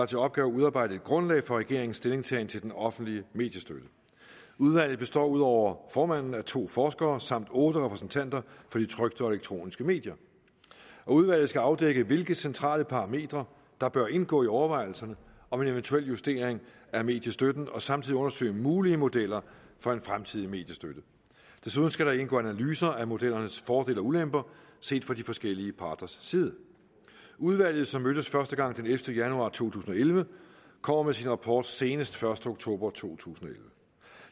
til opgave at udarbejde et grundlag for regeringens stillingtagen til den offentlige mediestøtte udvalget består ud over formanden af to forskere samt otte repræsentanter for de trykte og elektroniske medier udvalget skal afdække hvilke centrale parametre der bør indgå i overvejelserne om en eventuel justering af mediestøtten og samtidig undersøge mulige modeller for en fremtidig mediestøtte desuden skal der indgå analyser af modellernes fordele og ulemper set fra de forskellige parters side udvalget som mødtes første gang den ellevte januar to tusind og elleve kommer med sin rapport senest første oktober to tusind og elleve